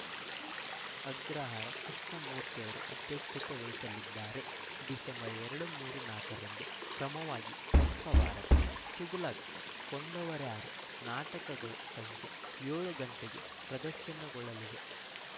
ಅಗ್ರಹಾರ ಕೃಷ್ಣ ಮೂರ್ತಿಯವರು ಅಧ್ಯಕ್ಷತೆ ವಹಿಸಲಿದ್ದಾರೆ ಡಿಸೆಂಬರ್ ಎರಡು ಮೂರು ನಾಲ್ಕರಂದು ಕ್ರಮವಾಗಿ ಪಂಪ ಭಾರತ ತುಘಲಕ್‌ ಕೊಂದವರಾರು ನಾಟಕಗಳು ಸಂಜೆ ಏಳು ಗಂಟೆಗೆ ಪ್ರದರ್ಶನಗೊಳ್ಳಲಿವೆ